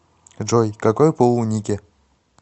джой какой пол у нике